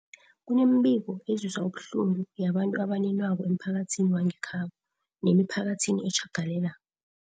Kunemibiko ezwisa ubuhlungu yabantu abaninwakoemphakathini wangekhabo nemiphakathi etjhagalela